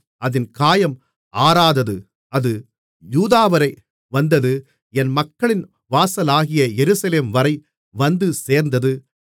அதின் காயம் ஆறாதது அது யூதாவரை வந்தது என் மக்களின் வாசலாகிய எருசலேம்வரை வந்து சேர்ந்தது